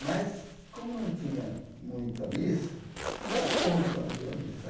Mas, como não tinha muita missa, ele dava conta quando havia missa.